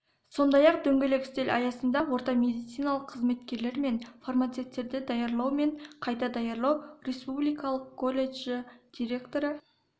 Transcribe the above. сондай-ақ дөңгелек үстел аясында орта медициналық қызметкерлер мен фармацевтерді даярлау мен қайта даярлау республикалық колледжі директоры